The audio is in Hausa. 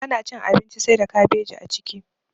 Bana cin abinci saida kabeji a ciki.